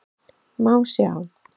Má sjá